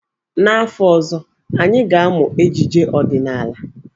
N'afọ ọzọ, anyị ga-amụ ejije ọdịnaala.